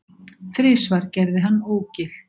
Þrisvar gerði hann ógilt